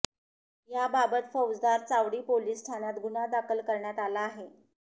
याबाबत फौजदार चावडी पोलिस ठाण्यात गुन्हा दाखल करण्यात आला आहे